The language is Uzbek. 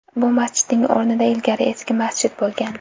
Bu masjidning o‘rnida ilgari eski masjid bo‘lgan.